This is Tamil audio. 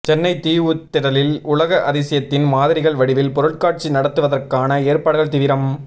சென்னை தீவுத்திடலில் உலக அதிசயத்தின் மாதிரிகள் வடிவில் பொருட்காட்சி நடத்துவதற்கான ஏற்பாடுகள் தீவிரம்